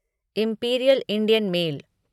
imperial Indian mail